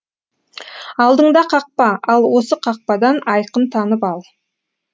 алдыңда қақпа ал осы қақпадан айқын танып ал